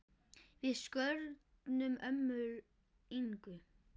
Við söknum ömmu Ingu.